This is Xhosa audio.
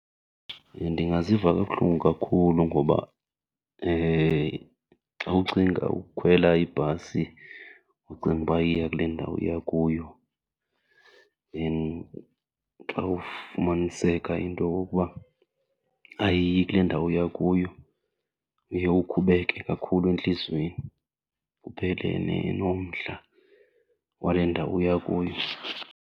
Ndingaziva kabuhlungu kakhulu, ngoba xa ucinga ukukhwela ibhasi ucinga uba iya kule ndawo uya kuyo xa ufumaniseka into yokokuba ayiyi kule ndawo uya kuyo uye ukhubeke kakhulu entliziyweni kuphele nomdla wale ndawo uya kuyo.